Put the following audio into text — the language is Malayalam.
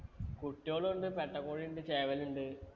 കുട്ടികളുണ്ട് പെരട്ട കോഴി ഇണ്ട് ചേവൽ ഇണ്ട്